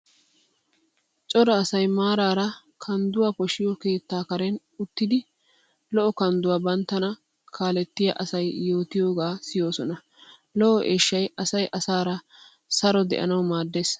Cora asay maaraara kandduwa poshiyo keettaa karen uttidi lo'o kandduwa banttana kaalettya asay yootiyogaa siyoosona. Lo"o eeshshay asay asaara saro de'anawu maaddees.